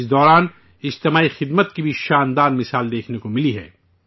اس دوران اجتماعی خدمت کی بھی شاندار مثال دیکھنے کو ملی ہے